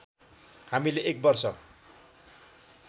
हामीले एक वर्ष